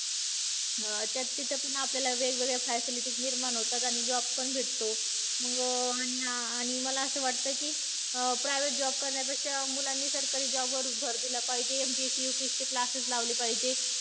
तर त्याच्यातून आपल्याला वेगवेगळ्या facilities निर्माण होतात. आणि job पण भेटतो. मग आणि अं आणि मला असं वाटतं की, private job करण्यापेक्षा मुलांनी सरकारी job वर भर दिला पाहिजे. MPSC, UPSC चे classes लावले पाहिजे.